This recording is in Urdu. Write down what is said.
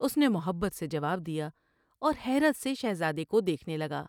اس نے محبت سے جواب دیا اور حیرت سے شہزادے کو دیکھنے لگا ۔